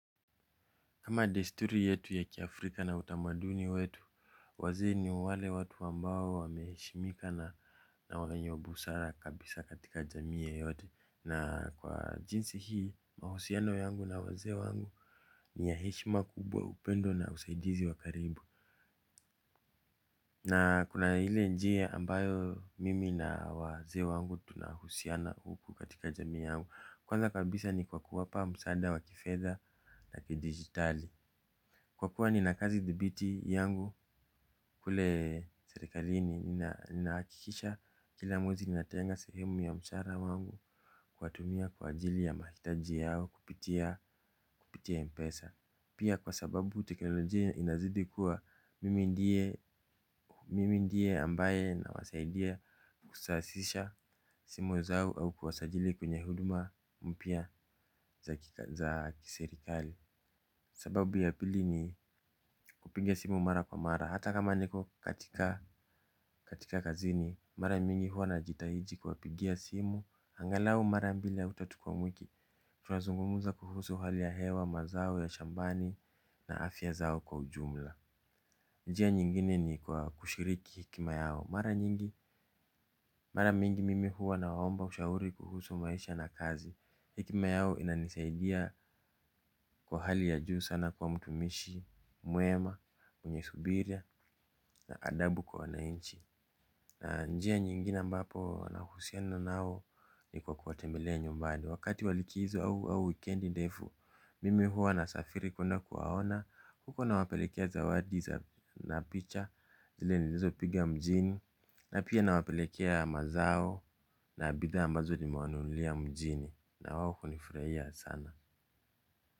Kama desturi yetu ya kiafrika na utamaduni wetu, wazee ni wale watu ambao wameheshimika na wenye busara kabisa katika jamii yeyote. Na kwa jinsi hii, mahusiano yangu na wazee wangu ni ya heshima kubwa upendo na usaidizi wakaribu. Na kuna ile njia ambayo mimi na wazee wangu tunahusiana huku katika jamii yangu. Kwanza kabisa ni kwa kuwapa msaada wa kifedha na kidigitali. Kwa kuwa ninakazi dhibiti yangu kule serikalini ninahakikisha kila mwezi ninatenga sehemu ya mshahara wangu kuwa tumia kwa ajili ya mahitaji yao kupitia mpesa. Pia kwa sababu teknolojia inazidi kuwa mimi ndiye mimi ndiye ambaye nawasaidia kusasisha simu zao au kuwasajili kwenye huduma mpya za kiserikali. Sababu ya pili ni kupiga simu mara kwa mara. Hata kama niko katika kazini mara mingi huwa najitahiji kuwapigia simu. Angalau mara mbili au tatu kwa wiki. Tuna zungumza kuhusu hali ya hewa mazao ya shambani na afya zao kwa ujumla. Njia nyingine ni kwa kushiriki hekima yao. Mara mingi mimi huwa nawa omba ushauri kuhusu maisha na kazi. Hekima yao inanisaidia kwa hali ya juu sana kuwa mtumishi mwema, mwenye subira na adabu kwa wananchi. Na njia nyingine ambapo nahusiana nao ni kwa kuwatembelea nyumbani. Wakati walikizo au wikendi ndefu mimi huwa na safiri kuenda kuwaona. Huko nawapelekea zawadi. Na picha zile nilizopiga mjini. Na pia nawapelekea mazao na bidha ambazo nimewanunulia mjini. Na wao hunifurahia sana.